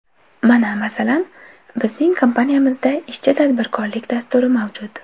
Mana, masalan, bizning kompaniyamizda ichki tadbirkorlik dasturi mavjud.